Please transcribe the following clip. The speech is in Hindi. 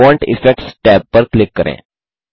फोंट इफेक्ट्स टैब पर क्लिक करें